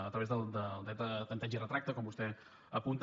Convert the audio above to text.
a través del dret de tempteig i retracte com vostè apunta